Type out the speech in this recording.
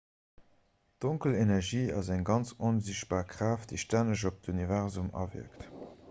donkel energie ass eng ganz onsichtbar kraaft déi stänneg op d'universum awierkt